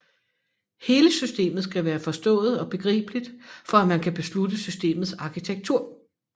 Hele systemet skal være forstået og begribeligt for at man kan beslutte systemets arkitektur